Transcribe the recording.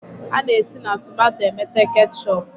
A na-esi na tomato emete ketchọp.